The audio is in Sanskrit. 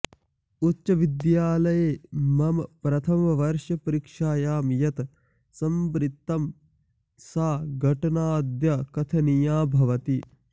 उच्चविद्यालये मम प्रथमवर्षपरीक्षायां यत् संवृत्तं सा घटनाद्य कथनीया भवति